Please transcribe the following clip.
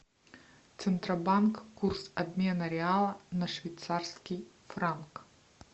центробанк курс обмена реала на швейцарский франк